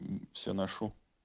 всё ношу